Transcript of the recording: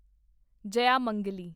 Jayamangali